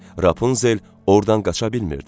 Rapunzel ordan qaça bilmirdi.